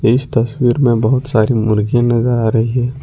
इस तस्वीर में बहुत सारी मुर्गी नजर आ रही है।